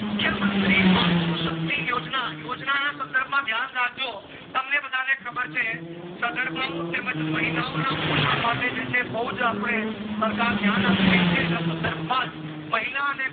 માત્રુ શક્તિ યોજના યોજના ના સંદર્ભ માં ધ્યાન રાખજો તમને બધાને ખબર છે સાગર ઓ તેમજ મહિલા ઓ ના પોષણ માટે જે છે બુજ સરકાર ધ્યાન આપી રહી છે અન સંદર્ભ મજ મહિલા અને